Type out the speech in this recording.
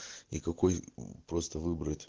и какой просто выбрать